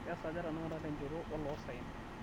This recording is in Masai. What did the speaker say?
kesaaja tenakata tenchoto oloosaen